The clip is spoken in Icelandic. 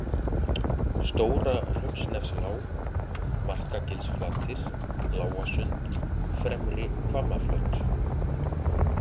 Stóra-Hraunsnefslág, Markagilsflatir, Lágasund, Fremri-Hvammaflöt